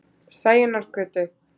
Sæunnargötu